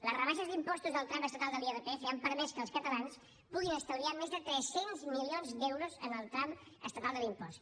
les rebaixes d’impostos al tram estatal de l’irpf han permès que els catalans puguin estalviar més de tres cents milions d’euros en el tram estatal de l’impost